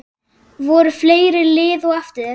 Voru fleiri lið á eftir þér?